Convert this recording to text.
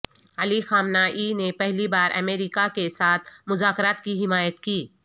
علی Khamenei نے پہلی بار امریکہ کے ساتھ مذاکرات کی حمایت کی